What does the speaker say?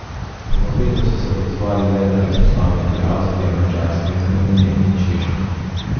Povabilu so se odzvali le veleposlaniki Avstrije, Madžarske, Romunije in Češke.